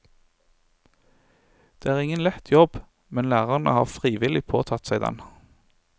Det er ingen lett jobb, men lærerne har frivillig påtatt seg den.